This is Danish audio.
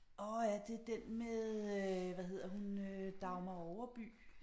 Åh ja det den med øh hvad hedder hun øh Dagmar Overby